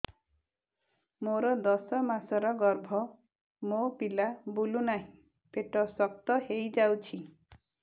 ମୋର ଦଶ ମାସର ଗର୍ଭ ମୋ ପିଲା ବୁଲୁ ନାହିଁ ପେଟ ଶକ୍ତ ହେଇଯାଉଛି